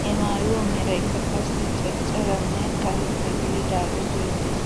He maaywaa meraykka qassi canccarenne karetta gididaagee beettes .